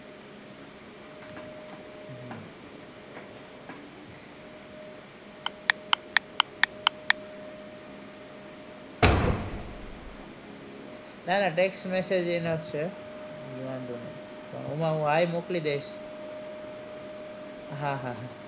ના ના text message આવશે છે ઈ વાંધો નહિ પણ ઓમાં હું hi મોકલી દઈશ હા હા હા